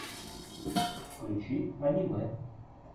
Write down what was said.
включи аниме